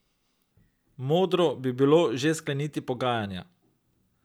Modro bi bilo že skleniti pogajanja.